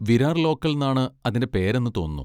Virar local ന്നാണ് അതിൻ്റെ പേര് എന്ന് തോന്നുന്നു.